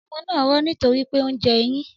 Ọmọ naa rọ nitori pe o njẹ eyin.